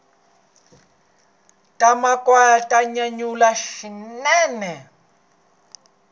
ta makhwaya ta nyanyula swinene